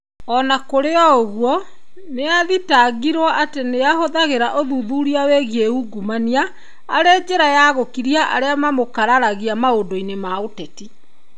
O na kũrĩ ũguo, nĩ athitangĩirũo atĩ ahũthagĩra ũthuthuria wĩgiĩ ungumania, arĩ njĩra ya gũkiria arĩa mamũkararagia maũndũ-inĩ ma ũteti.